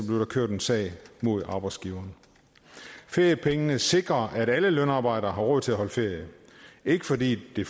der kørt en sag mod arbejdsgiveren feriepengene sikrer at alle lønarbejdere har råd til at holde ferie ikke fordi det